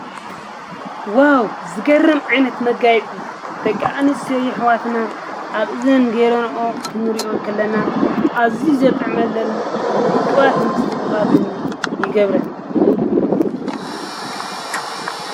ዋው!!! ዝገርም ዓይነት መጋየፂ ደቂ አንስትዮ አሕዋትና አብ እዝን ጌረንኦ ክንሪአን ከለና አዝዩ ዘጥዕመለን ዉቅባትን ፅቡቃትን ይገብረን።